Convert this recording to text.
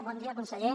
bon dia conseller